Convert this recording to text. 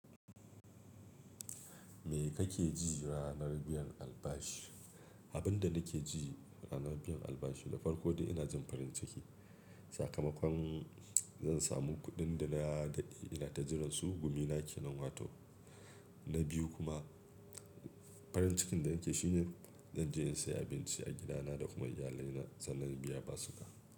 Me kake ji ranar biyan albashi? Abin da nake ji ranar biyan albashi, na farko dai ina jin farin ciki. Sakamakon zan samu kuɗin da nadade ina ta jiran su. Gumina ke nan watan na biyu kuma farin cikin da nake shi ne zan je in sayi abinci a gidana da kuma iyalina sannan biya basuka.